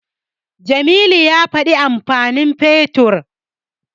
Jamilu ya faɗi amfanin Fetur.